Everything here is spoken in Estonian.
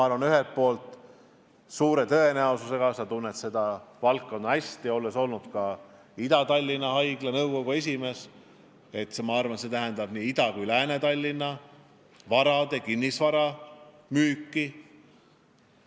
Aga see eeldab suure tõenäosusega – sa ju tunned seda valdkonda hästi, olles olnud ka Ida-Tallinna Keskhaigla nõukogu esimees – nii Ida- kui Lääne-Tallinna haigla kinnisvara müüki.